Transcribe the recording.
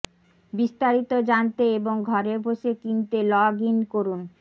বিস্তারিত জানতে এবং ঘরে বসে কিনতে লগ ইন করুন